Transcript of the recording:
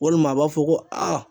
Walima a b'a fɔ ko